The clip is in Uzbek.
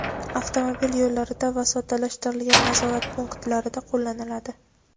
avtomobil yo‘llarida va soddalashtirilgan nazorat punktlarida qo‘llaniladi.